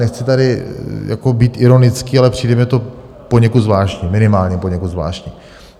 Nechci tady být ironický, ale přijde mi to poněkud zvláštní, minimálně poněkud zvláštní.